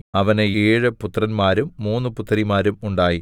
അവന് ഏഴ് പുത്രന്മാരും മൂന്നു പുത്രിമാരും ഉണ്ടായി